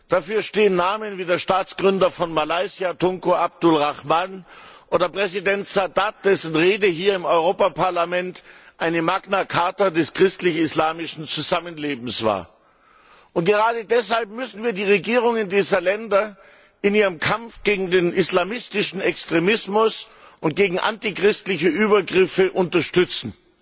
Dafür stehen Namen wie der Staatsgründer von Malaysia, Tunku Abdul Rahman, oder Präsident Sadat, dessen Rede hier im Europäischen Parlament eine Magna Charta des christlich islamischen Zusammenlebens war. Gerade deshalb müssen wir die Regierungen dieser Länder in ihrem Kampf gegen den islamistischen Extremismus und gegen antichristliche Übergriffe unterstützen.